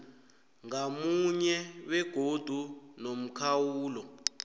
ngamunye begodu nomkhawulo